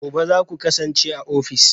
Gobe ​​zaku kasance a ofis?